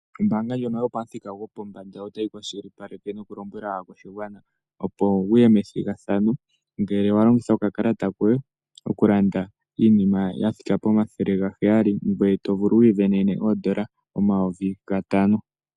Oombanga ndjono yopamuthika gwopombanda, otayi kwashilipaleke nokulombwela aakwashigwana opo ya kuthe ombinga methigathano. Ngele wa longitha okakalata koye kombaanga okulanda iinima yondando ya thika pomathele gaheyali, ngoye tosindana oondola omayovi gatano.